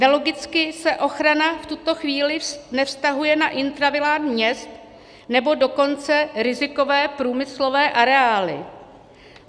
Nelogicky se ochrana v tuto chvíli nevztahuje na intravilán měst, nebo dokonce rizikové průmyslové areály.